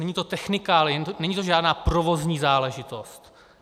Není to technikálie, není to žádná provozní záležitost.